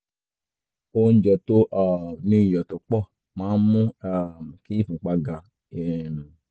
oúnjẹ tó um ní iyọ̀ tó pọ̀ máa ń mú um kí ìfúnpá ga um